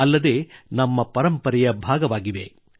ಅಲ್ಲದೆ ಅವು ನಮ್ಮ ಪರಂಪರೆಯ ಭಾಗವಾಗಿವೆ